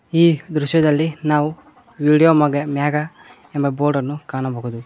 ಈ ದೃಶ್ಯದಲ್ಲಿ ನಾವು ವಿಡಿಯೋ ಮಗ ಮ್ಯಾಗ ಎಂಬ ಬೋರ್ಡ ಅನ್ನು ಕಾಣಬಹುದು.